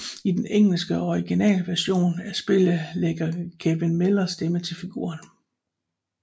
I den engelske og originale version af spillet lægger Kevin Miller stemme til figuren